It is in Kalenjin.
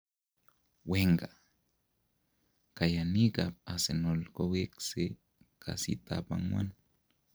Wenger:Kayaniik ab Arsenal kowekse kasitab agwan